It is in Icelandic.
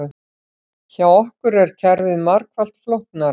Hjá okkur er kerfið margfalt flóknara